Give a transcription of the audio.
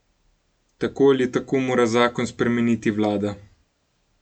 Tako ali tako mora zakon spremeniti vlada.